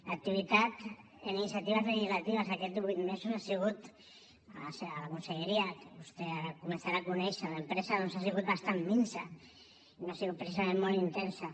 l’activitat en iniciatives legislatives aquests divuit mesos ha sigut a la conselleria que vostè ara començarà a conèixer d’empresa doncs ha sigut bastant minsa no ha sigut precisament molt intensa